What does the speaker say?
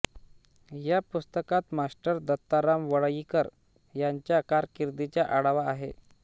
या पुस्तकात मास्टर दत्ताराम वळवईकर यांच्या कारकीर्दीचा आढावा आहे